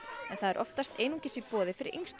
en það er oftast einungis í boði fyrir yngstu